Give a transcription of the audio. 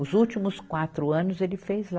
Os últimos quatro anos ele fez lá.